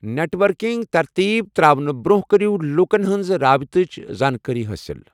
Net working ترتیٖب تراونہٕ برونٛہہ کٔرِو لوکَن ہنٛز رٲبطٕچ زانٛکٲری حٲصِل۔